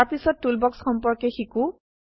তাৰপিছত টুলবক্স সম্পৰ্কে শিকো